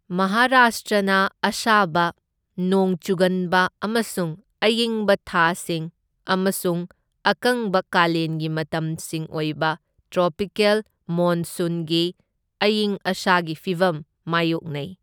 ꯃꯍꯥꯔꯥꯁꯇ꯭ꯔꯅ ꯑꯁꯥꯕ, ꯅꯣꯡ ꯆꯨꯒꯟꯕ ꯑꯃꯁꯨꯡ ꯑꯌꯤꯡꯕ ꯊꯥꯁꯤꯡ ꯑꯃꯁꯨꯡ ꯑꯀꯪꯕ ꯀꯥꯂꯦꯟꯒꯤ ꯃꯇꯝꯁꯤꯡ ꯑꯣꯏꯕ ꯇ꯭ꯔꯣꯄꯤꯀꯦꯜ ꯃꯣꯟꯁꯨꯟꯒꯤ ꯑꯌꯤꯡ ꯑꯁꯥꯒꯤ ꯐꯤꯚꯝ ꯃꯥꯢꯌꯣꯛꯅꯩ꯫